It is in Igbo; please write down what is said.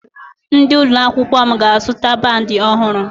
Ndị ụlọ akwụkwọ m ga-azụta bandi ọhụrụ